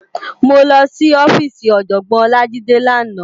Mó lòsí òfisí Òjògbòn Olajide làná